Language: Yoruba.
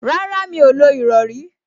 Rárá, Mí ò lo ìrọrí